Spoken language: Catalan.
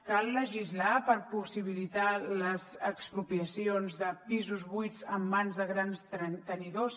cal legislar per possibilitar les expropiacions de pisos buits en mans de grans tenidors